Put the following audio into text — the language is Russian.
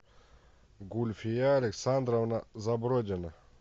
гульфия александровна забродина